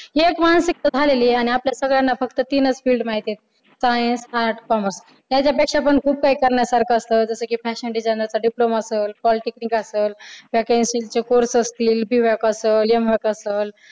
ही एक मानसिकता झालेली आणि आपल्या सगळ्यांना फक्त तीनच field माहिती आहे science, arts, commerce याच्यापेक्षा पण खूप काही करण्यासारखं असतं जस कि fashion designer चा diploma असल polytechnic असल fancy चे course असतील B vyak असल M vyak असलं